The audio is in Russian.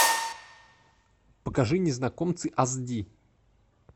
покажи незнакомцы ас ди